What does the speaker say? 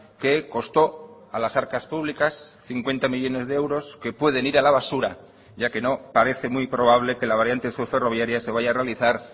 que costó a las arcas públicas cincuenta millónes de euros que pueden ir a la basura ya que no parece muy probable que la variante sur ferroviaria se vaya a realizar